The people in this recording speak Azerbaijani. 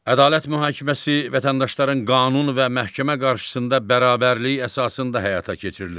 Ədalət mühakiməsi vətəndaşların qanun və məhkəmə qarşısında bərabərliyi əsasında həyata keçirilir.